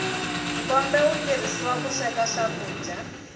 nkombe wu tirhisiwa ku sweka swakudya